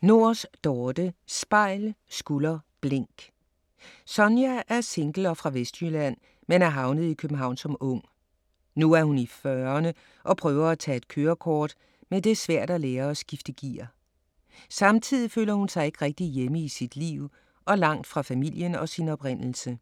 Nors, Dorthe: Spejl, skulder, blink Sonja er single og fra Vestjylland men er havnet i København som ung. Nu er hun i fyrrerne og prøver at tage et kørekort, men det er svært at lære at skifte gear. Samtidig føler hun sig ikke rigtig hjemme i sit liv og langt fra familien og sin oprindelse.